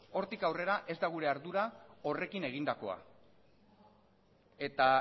hortik aurrera ez da gure ardura horrekin egindakoa eta